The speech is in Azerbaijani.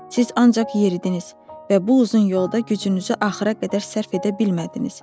Siz ancaq yeridiniz və bu uzun yolda gücünüzü axıra qədər sərf edə bilmədiniz.